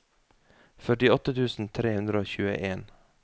førtiåtte tusen tre hundre og tjueen